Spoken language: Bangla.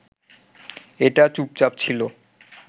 এটা চুপচাপ ছিল